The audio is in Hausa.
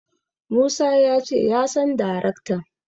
Musa ya ce ya san daraktan.